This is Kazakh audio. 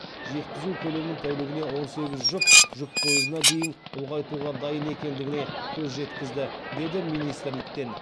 жеткізу көлемін тәулігіне он сегіз жұп жүк пойызына дейін ұлғайтуға дайын екендігіне көз жеткізді деді министрліктен